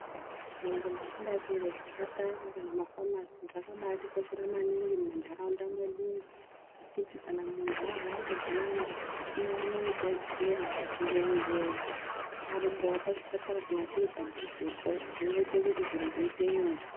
Nzvimbo dzakadai ngezvipatara kana mafamasi Zvakabatikoshera maningi mumandaraunda ngekuti kana muntu arwara zviyani awane rudetsero ngenguwa parumbwa pachipatara kana chiri padhuze zvinoita kuti zvinhu zviite nyore.